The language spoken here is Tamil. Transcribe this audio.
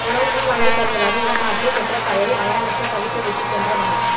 உணவு வாங்கி வருவதாக ஏமாற்றி பெற்ற தாயை மயானத்தில் தவிக்க விட்டுச்சென்ற மகன்